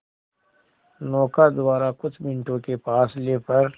नौका द्वारा कुछ मिनटों के फासले पर